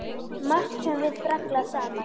Margt höfum við brallað saman.